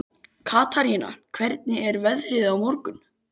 Katarína, hvernig er veðrið á morgun?